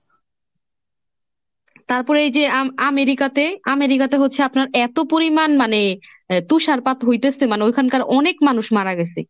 তারপরে এই যে আম~ আমেরিকাতে, আমেরিকাতে হচ্ছে আপনার এত পরিমান মানে তুষারপাত হইতেছে মানে ওইখানকার অনেক মানুষ মারা গেছে।